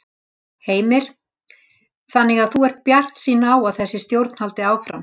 Heimir: Þannig að þú ert bjartsýn á að þessi stjórn haldi áfram?